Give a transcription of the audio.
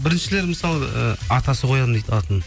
біріншілер мысалы ы атасы қоямын дейді атын